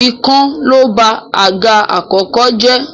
Ikán ló ba àga àkọ́kọ́ jẹ́.